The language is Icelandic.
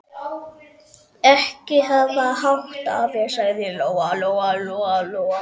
Ekki hafa hátt, afi, sagði Lóa Lóa.